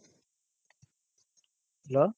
hello,